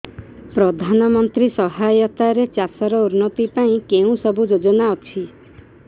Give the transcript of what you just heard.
ପ୍ରଧାନମନ୍ତ୍ରୀ ସହାୟତା ରେ ଚାଷ ର ଉନ୍ନତି ପାଇଁ କେଉଁ ସବୁ ଯୋଜନା ଅଛି